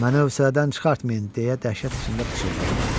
Məni övsədən çıxartmayın deyə dəhşət içində pıçıldadım.